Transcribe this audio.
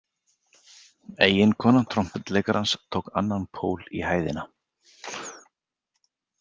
Eiginkona trompetleikarans tók annan pól í hæðina.